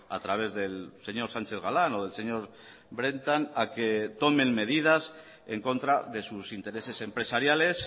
a través del señor sánchez galán o del señor brentan a que tomen medidas en contra de sus intereses empresariales